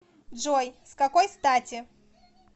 джой с какой стати